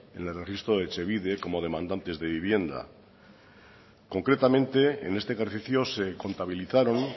en el registro de etxebide como demandantes de vivienda concretamente en este ejercicio se contabilizaron